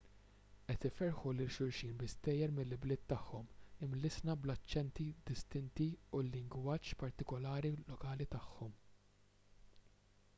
qed iferrħu lil xulxin bi stejjer mill-ibliet tagħhom imlissna bl-aċċenti distinti u l-lingwaġġ partikulari lokali tagħhom